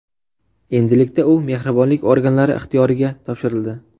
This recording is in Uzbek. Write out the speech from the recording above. Endilikda u mehribonlik organlari ixtiyoriga topshirildi.